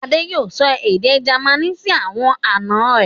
Adé yóò sọ èdè Jamaní sí àwọn àná rẹ̀.